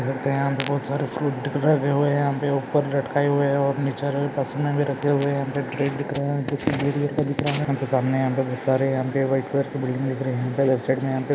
? यहाँ पर बोहोत सरे फ्रूट लगये हुए हैं ]